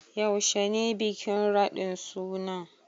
Yaushe ne bikin raɗin sunan?